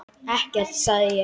Ekkert sagði ég.